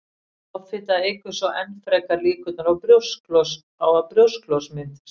Offita eykur svo enn frekar líkurnar á að brjósklos myndist.